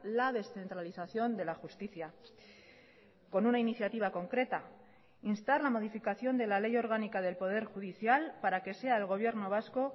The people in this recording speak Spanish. la descentralización de la justicia con una iniciativa concreta instar la modificación de la ley orgánica del poder judicial para que sea el gobierno vasco